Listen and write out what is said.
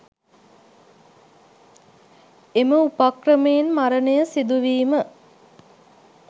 එම උපක්‍රමයෙන් මරණය සිදුවීම